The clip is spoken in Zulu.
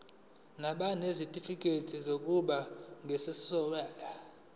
nabanezitifikedi zokuba ngososayense